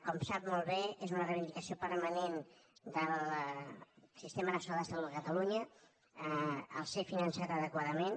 com sap molt bé és una reivindicació permanent del sistema nacional de salut de catalunya ser finançat adequadament